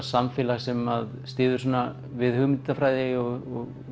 samfélag sem styður svona við hugmyndafræði og